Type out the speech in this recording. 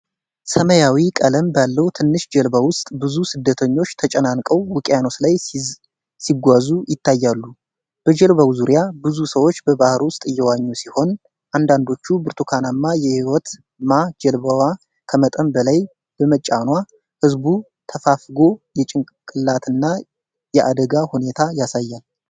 ሰማያዊ ቀለም ባለው ትንሽ ጀልባ ውስጥ ብዙ ስደተኞች ተጨናንቀው ውቅኖስ ላይ ሲጓዙ ይታያሉ። በጀልባው ዙሪያ ብዙ ሰዎች በባህር ውስጥ እየዋኙ ሲሆን፣ አንዳንዶቹ ብርቱካናማ የህይወት ማ። ጀልባዋ ከመጠን በላይ በመጫኗ ህዝቡ ተፋፍጎ የጭንቅላትና የአደጋ ሁኔታን ያሳያል።